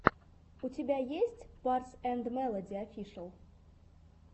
у тебя есть барс энд мелоди офишэл